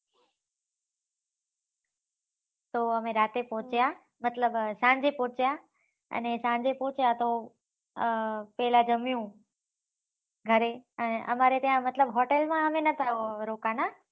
તો અમે રાત્રે પહોચ્યા મતલબ સાંજે પહોચ્યા અને સાંજે પહોચ્યા તો અમ પેહલા જમ્યું ઘરે અમારે ત્યાં મતલબ અમે hotel માં અમે નતા રોકાના